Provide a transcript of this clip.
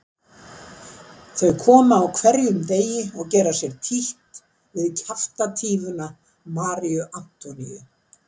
Þau koma á hverjum degi og gera sér títt við kjaftatífuna Maríu Antoníu.